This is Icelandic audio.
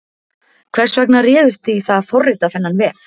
Hvers vegna réðust þið í það að forrita þennan vef?